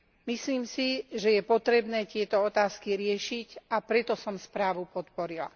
Myslím si, že je potrebné tieto otázky riešiť, a preto som správu podporila.